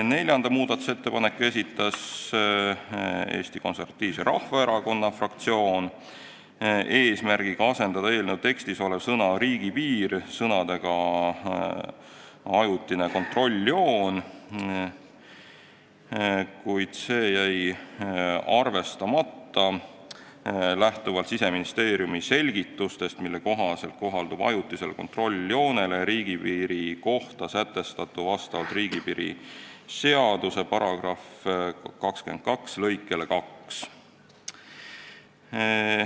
Neljanda muudatusettepaneku esitas Eesti Konservatiivse Rahvaerakonna fraktsioon eesmärgiga asendada eelnõu tekstis olev sõna "riigipiir" sõnadega "ajutine kontrolljoon", kuid see jäi arvestamata lähtuvalt Siseministeeriumi selgitustest, mille kohaselt kohaldub riigipiiri seaduse § 22 lõike 2 järgi ajutisele kontrolljoonele riigipiiri kohta sätestatu.